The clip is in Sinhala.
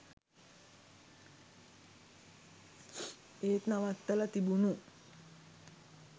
ඒත් නවත්තල තිබුණු